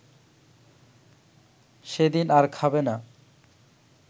সেদিন আর খাবে না